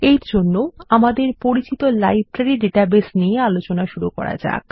এর জন্য আমাদের পরিচিত লাইব্রেরী ডাটাবেস নিয়ে আলোচনা শুরু করা যাক